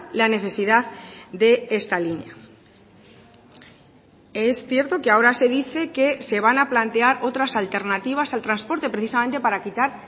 la necesidad de esta línea es cierto que ahora se dice que se van a plantear otras alternativas al transporte precisamente para quitar